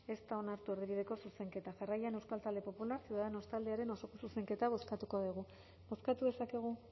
ez da onartu erdibideko zuzenketa jarraian euskal talde popular ciudadanos taldearen osoko zuzenketa bozkatuko dugu bozkatu dezakegu